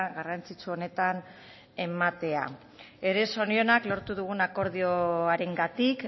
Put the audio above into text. garrantzitsu honetan ematea ere zorionak lortu dugun akordioarengatik